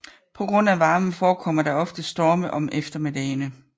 På grund af varmen forekommer der ofte storme om eftermiddagene